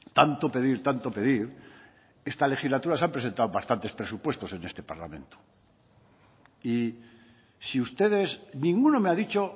tanto pedir tanto pedir esta legislatura se han presentado bastante presupuestos en este parlamento y si ustedes ninguno me ha dicho